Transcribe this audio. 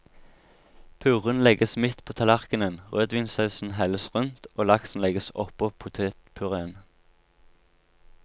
Puréen legges midt på tallerkenen, rødvinssausen helles rundt, og laksen legges oppå potetpuréen.